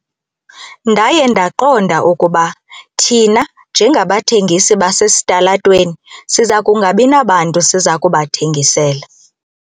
Ndaye ndaqonda ukuba thina njengabathengisi basesitalatweni siza kungabi nabantu siza kubathengisela.